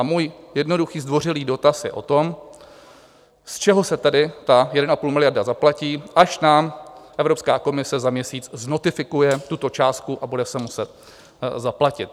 A můj jednoduchý zdvořilý dotaz je o tom, z čeho se tady 1,5 miliardy zaplatí, až nám Evropská komise za měsíc znotifikuje tuto částku a bude se muset zaplatit?